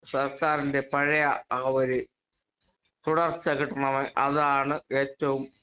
speaker 2 സർക്കാരിന്റെ പഴയ ആ ഒരു തുടർച്ച കിട്ടണം അതാണ് ഏറ്റവും